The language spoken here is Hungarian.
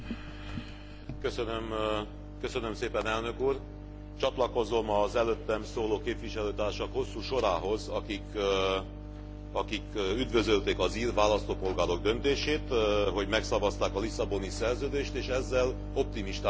Csatlakozom az előttem szóló képviselőtársak hosszú sorához, akik üdvözölték az ír választópolgárok döntését, hogy megszavazták a Lisszaboni Szerződést és ezzel optimistán tekinthetünk a ratifikáció véglegesítésének irányába.